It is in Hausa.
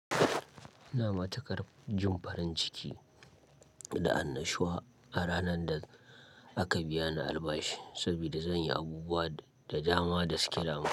Ina matuƙar jin farin ciki da an nashawa a ranar da aka biya ni albashi, sabida zan yi abubuwa da dama da suke dama.